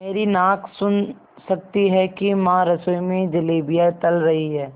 मेरी नाक सुन सकती है कि माँ रसोई में जलेबियाँ तल रही हैं